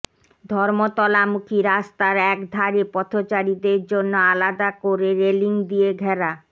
ধর্মতলামুখী রাস্তার এক ধারে পথচারীদের জন্য আলাদা করে রেলিং দিয়ে ঘেরা